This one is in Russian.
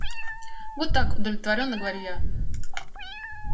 вот так удовлетворённо говорю я